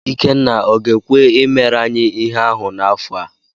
Ikenna ọ ga-ekwe i mere anyị ihe ahụ n'afọ a?